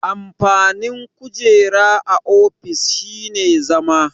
Amfanin kujera a ofis shine zama.